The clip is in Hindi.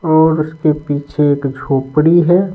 और उसके पीछे एक झोपड़ी है।